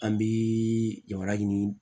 An bi jamana ɲini